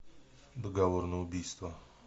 договор на убийство